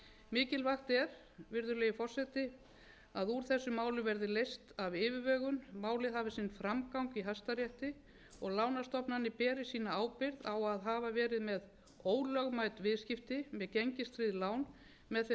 mikilvægt er virðulegi forseti að úr þessu máli verði leyst að yfirvegun málið hafi sinn framgang í hæstarétti og lánastofnanir beri sína ábyrgð á að hafa verið með ólögmæt viðskipti með gengistryggð lán með þeim